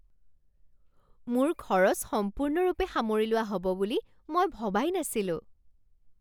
মোৰ খৰচ সম্পূৰ্ণৰূপে সামৰি লোৱা হ'ব বুলি মই ভবাই নাছিলো।